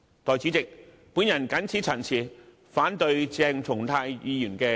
代理主席，我謹此陳辭，反對鄭松泰議員的議案。